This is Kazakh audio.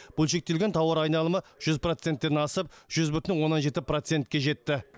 бөлшектелген тауар айналымы жүз проценттен асып жүз бүтін оннан жеті процентке жетті